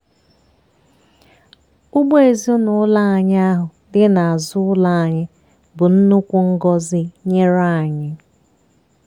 ugbo ezinụlọ anyị ahụ dị n'azụ ụlọ anyị bụ nnukwu ngọzi nyere anyị.